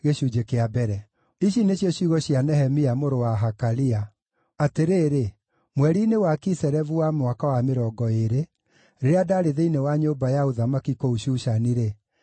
Ici nĩcio ciugo cia Nehemia mũrũ wa Hakalia: Atĩrĩrĩ, mweri-inĩ wa Kiselevu wa mwaka wa mĩrongo ĩĩrĩ, rĩrĩa ndaarĩ thĩinĩ wa nyũmba ya ũthamaki kũu Shushani-rĩ,